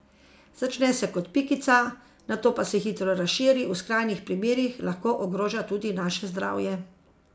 Začne se kot pikica, nato pa se hitro razširi, v skrajnih primerih lahko ogroža tudi naše zdravje.